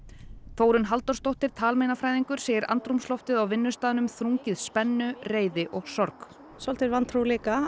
Þórunn Halldórsdóttir talmeinafræðingur segir andrúmsloftið á vinnustaðnum þrungið spennu reiði og sorg svolítil vantrú líka